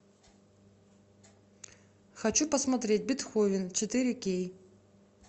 хочу посмотреть бетховен четыре кей